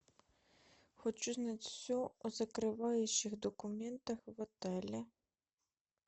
хочу знать все о закрывающих документах в отеле